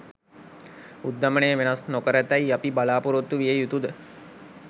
උද්ධමනය වෙනස් නොකරතැයි අපි බලාපොරොත්තු විය යුතුද?